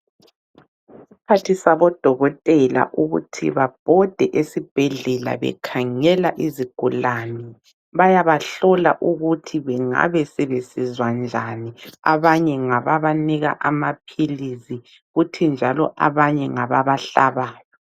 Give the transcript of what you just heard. Isikhathi sabodokotela ukuthi babhode esibhedlela bekhangela izigulane, bayabahlola ukuthi bengabe sebezwisa njani, abanye ngababanika amaphilisi kuthi njalo abanye ngababa hlabayo.